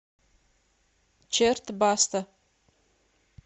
черт баста